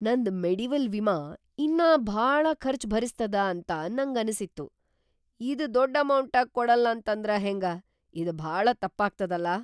ನಂದ್ ಮೆಡಿವೆಲ್ ವಿಮಾ ಇನ್ನಾ ಭಾಳ ಖರ್ಚ್‌ ಭರಿಸ್ತದ ಅಂತ ನಂಗನಸಿತ್ತು. ಇದ್‌ ದೊಡ್‌ ಅಮೌಂಟ ಕೊಡಲ್ಲಂತಂದ್ರ ಹೆಂಗ, ಇದ್‌ ಭಾಳ ತಪ್ಪಾಗ್ತದಲಾ.